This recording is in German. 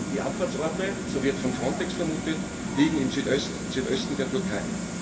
Die Abfahrtsorte, so wird von Frontex vermutet, liegen im Südosten der Türkei.